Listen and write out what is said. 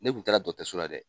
Ne kun taara dɔtɛso la dɛ.